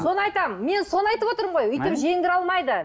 соны айтамын мен соны айтып отырмын ғой өйтіп жеңдіре алмайды